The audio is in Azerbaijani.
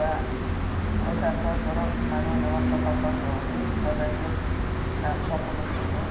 Və o səhvdən sonra mənə oynamaq çox asan oldu və vəziyyət yəni çox udüş idi.